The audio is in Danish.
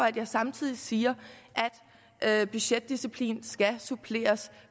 at jeg samtidig siger at budgetdisciplin skal suppleres